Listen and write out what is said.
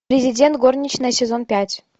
президент горничная сезон пять